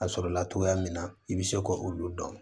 A sɔrɔla togoya min na i bɛ se ko olu dɔn